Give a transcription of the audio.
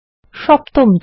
সপ্তম ধাপ